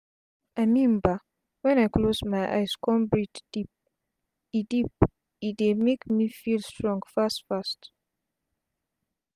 i mean bah wen i close my eyes con breathe deep e deep e dey make me feel strong fast fast